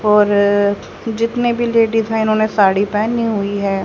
और जितने भी लेडिस है उन्होंने साड़ी पहनी हुई है।